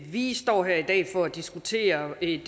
vi står her i dag for at diskutere et